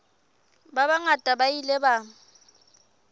ba bangata ba ile ba